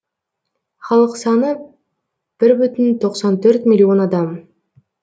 халық саны бір бүтін тоқсан төрт миллион адам